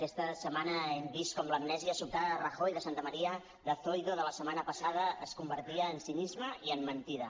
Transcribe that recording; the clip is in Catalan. aquesta setmana hem vist com l’amnèsia sobtada de rajoy de santamaría de zoido de la setmana passada es convertia en cinisme i en mentida